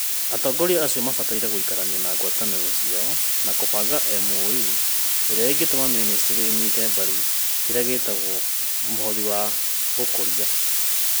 Atongoria acio mabataire gũikarania na ngwatanĩro ciao na kũbanga MOA ĩrĩa ĩngĩtũma ministry ĩnyite mbaru kĩrĩa gĩtagwo "mũhothi wa gũkũria".